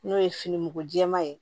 N'o ye fini mugu jɛman ye